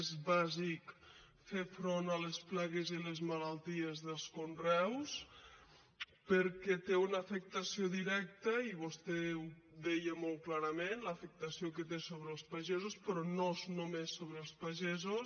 és bàsic fer front a les plagues i a les malalties dels conreus perquè tenen una afectació directa i vostè ho deia molt clarament l’afectació que té sobre els pagesos però no és només sobre els pagesos